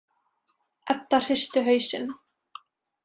Edda hristi hausinn.